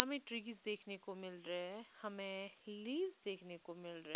हमें ट्रीज देखने को मिल रहे हैं हमें लीव्स देखने को मिल रहे--